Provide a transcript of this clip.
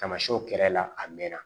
Tamasiyɛnw kɛrɛla a mɛnna